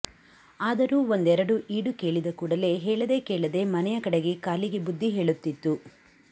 ಆದರೂ ಒಂದೆರಡು ಈಡು ಕೇಳಿದ ಕೂಡಲೆ ಹೇಳದೆ ಕೇಳದೆ ಮನೆಯ ಕಡೆಗೆ ಕಾಲಿಗೆ ಬುದ್ದಿ ಹೇಳುತ್ತಿತ್ತು